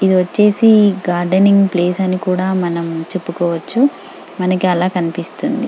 ఇది వచ్చేసి gardening place అని కూడా మనం చెప్పుకోవచ్చు మనకు ఆలా కనిపిస్తుంది.